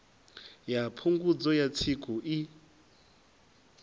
ya phungudzo ya tsiku i